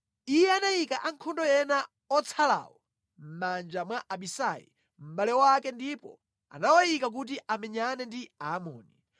Iye anayika ankhondo ena otsalawo mʼmanja mwa Abisai mʼbale wake ndipo anawayika kuti amenyane ndi Aamoni.